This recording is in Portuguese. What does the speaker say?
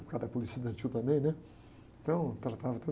Por causa da política estudantil também, né? Então, eu tratava todo